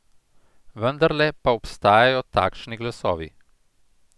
Vendarle pa obstajajo takšni glasovi.